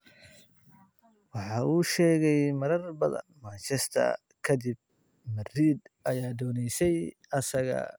"Waxa uu sheegay marar badan, Manchester ka dib, Madrid ayaa dooneysay isaga."